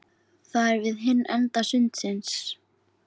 Það er við hinn enda sundsins.